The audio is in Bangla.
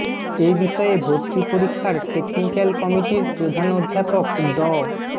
এ বিষয়ে ভর্তি পরীক্ষার টেকনিক্যাল কমিটির প্রধান অধ্যাপক ড